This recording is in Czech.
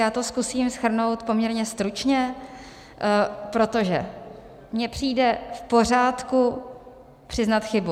Já to zkusím shrnout poměrně stručně, protože mi přijde v pořádku přiznat chybu.